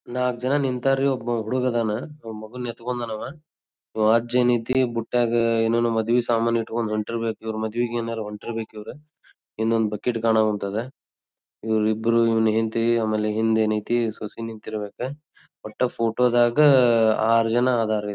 ನಾಕ್ ಜನ ನಿಂತರಿ ಒಬ್ಬ ಹುಡಗ್ ಅದ್ನ್ ಮಗು ಎತ್ತಕೊಂಡ ನವ್ ಈವ್ ಅಜ್ಜ ಏನೈತಿ ಬುಟೈಗ್ ಏನೇನೊ ಮದ್ವಿ ಸಾಮಾನ್ ಇಟ್ಟಕೊಂಡ್ ಹೊಂಟ್ಟಿರ್ ಬೇಕ್ ಇವ್ರ್ ಮದ್ವಿಗೆನ್ ಹೊಂಟ್ಟಿರ್ ಬೇಕ್ ಇವ್ರ್ ಇನೊಂದ್ ಬಕೆಟ್ ಕಾಣೋವಂತ್ತದೆ ಇವ್ರಿಬ್ರು ಇವ್ನ್ ಹೆಂಡತಿ ಆಮೇಲೆ ಹಿಂದ್ ಏನ್ ಐತಿ ಸೊಸೆ ನಿಂತಿರ್ ಬೇಕ ವಟ್ಟ ಫೋಟೋ ದಾಗ್ ಆರ್ ಜನ್ ಇದ್ದರ್ ರೀ.